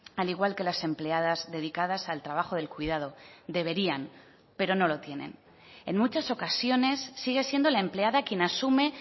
al igual que las empleadas dedicadas al trabajo del cuidado deberían pero no lo tienen en muchas ocasiones sigue siendo la empleada quien asume